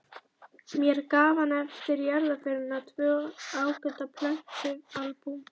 Mér gaf hann eftir jarðarförina tvö ágæt plötualbúm.